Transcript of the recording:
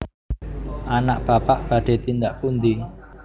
anak Bapak badhe tindak pundi